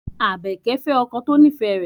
Abeke fe oko to nife re